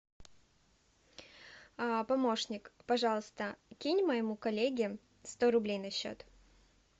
помощник пожалуйста кинь моему коллеге сто рублей на счет